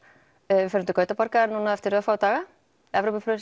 við förum til Gautaborgar núna eftir örfáa daga